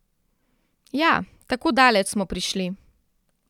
Ja, tako daleč smo prišli.